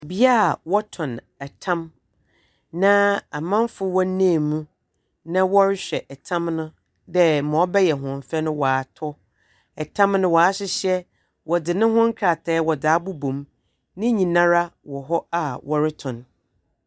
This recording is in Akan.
Beae a wɔtɔn tam, na amanfoɔ wɔnam mu, na wɔrehwɛ tam no dɛ ma ɔbɛyɛ hɔn fɛ no watɔ. Tam no, wɔahyehyɛ. Wɔdze no ho nkrataa a wɔdze abobom. Ne nyinaa wɔ hɔ ara a wɔretɔn.